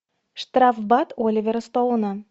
штрафбат оливера стоуна